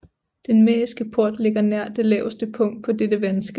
Den mähriske port ligger nær det laveste punkt på dette vandskel